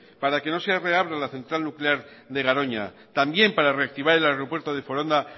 para que no se reabra la central nuclear de garoña también para reactivar el aeropuerto de foronda